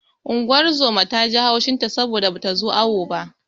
Unguwar zoman ta ji haushin ta saboda bata zo awo ba.